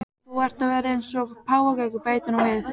Þú ert að verða eins og páfagaukur, bætir hún við.